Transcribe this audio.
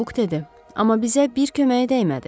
Buk dedi, amma bizə bir köməyə dəymədi.